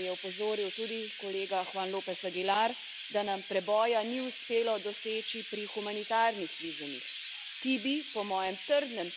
Močno pa mi je žal, kar je opozoril tudi kolega Juan López Aguilar, da nam preboja ni uspelo doseči pri humanitarnih vizumih.